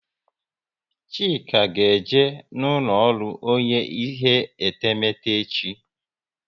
Chika ga eje n'ulo ọrụ onye ihe etemete echi